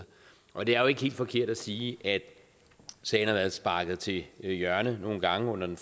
og det er jo ikke helt forkert at sige at sagen har været sparket til hjørne nogle gange under den